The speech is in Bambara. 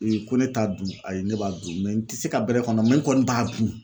ko ne t'a dun ayi ne b'a dun mɛ n ti se ka bɛrɛ mɛ n kɔni b'a dun.